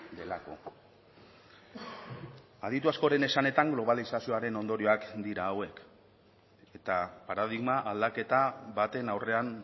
delako aditu askoren esanetan globalizazioaren ondorioak dira hauek eta paradigma aldaketa baten aurrean